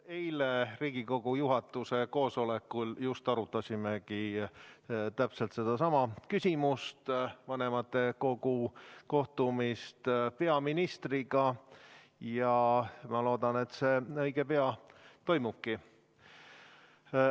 Eile Riigikogu juhatuse koosolekul just arutasimegi täpselt sedasama küsimust, vanematekogu kohtumist peaministriga, ja ma loodan, et see õige pea toimubki.